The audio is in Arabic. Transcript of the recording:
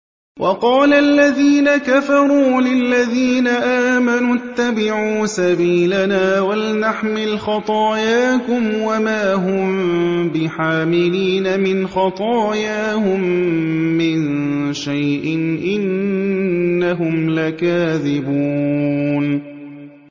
وَقَالَ الَّذِينَ كَفَرُوا لِلَّذِينَ آمَنُوا اتَّبِعُوا سَبِيلَنَا وَلْنَحْمِلْ خَطَايَاكُمْ وَمَا هُم بِحَامِلِينَ مِنْ خَطَايَاهُم مِّن شَيْءٍ ۖ إِنَّهُمْ لَكَاذِبُونَ